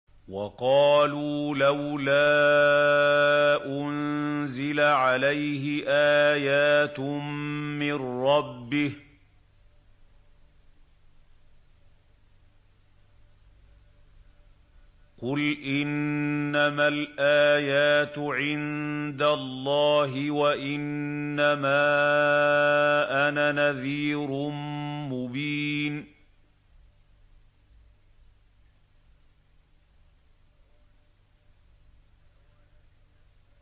وَقَالُوا لَوْلَا أُنزِلَ عَلَيْهِ آيَاتٌ مِّن رَّبِّهِ ۖ قُلْ إِنَّمَا الْآيَاتُ عِندَ اللَّهِ وَإِنَّمَا أَنَا نَذِيرٌ مُّبِينٌ